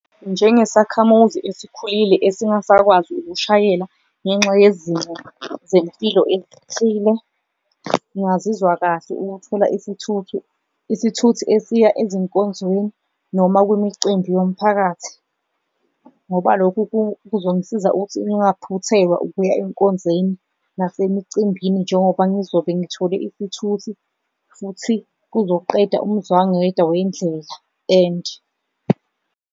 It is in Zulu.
Njengesakhamuzi esikhulile esingasakwazi ukushayela ngenxa yezimo zempilo ezithile, ngingazizwa kahle ukuthola isithuthi esiya ezinkonzweni noma kumicimbi yomphakathi, ngoba lokhu kuzongisiza ukuthi ngaphuthelwa ukuya enkonzeni nasemicimbini. Njengoba ngizobe ngithole isithuthi futhi kuzoqeda umzwangedwa wendlela and.